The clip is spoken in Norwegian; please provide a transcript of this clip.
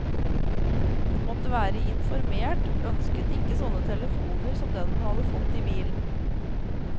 Hun måtte være informert, ønsket ikke sånne telefoner som den hun hadde fått i bilen.